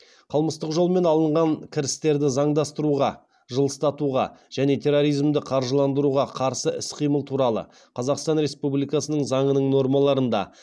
қылмыстық жолмен алынған кірістерді заңдастыруға және терроризмді қаржыландыруға қарсы іс қимыл туралы қазақстан республикасының заңының нормаларында